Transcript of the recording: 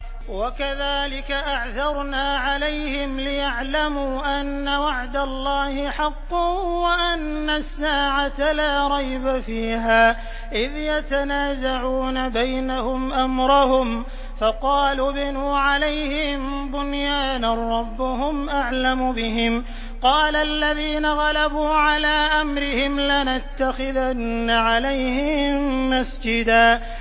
وَكَذَٰلِكَ أَعْثَرْنَا عَلَيْهِمْ لِيَعْلَمُوا أَنَّ وَعْدَ اللَّهِ حَقٌّ وَأَنَّ السَّاعَةَ لَا رَيْبَ فِيهَا إِذْ يَتَنَازَعُونَ بَيْنَهُمْ أَمْرَهُمْ ۖ فَقَالُوا ابْنُوا عَلَيْهِم بُنْيَانًا ۖ رَّبُّهُمْ أَعْلَمُ بِهِمْ ۚ قَالَ الَّذِينَ غَلَبُوا عَلَىٰ أَمْرِهِمْ لَنَتَّخِذَنَّ عَلَيْهِم مَّسْجِدًا